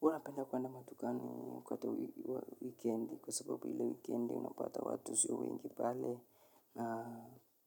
Huwa napenda kwenda madukani wakati wa wikendi kwa sababu ilee wikendi unapata watu sio wengi pale